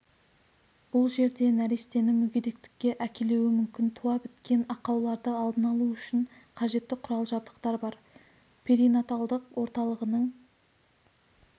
бұл жерде нәрестені мүгедектікке әкелуі мүмкін туа біткен ақауларды алдын-алу үшін қажетті құрал-жабдықтар бар перинаталдық орталығының